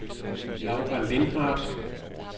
Laura Lindhardt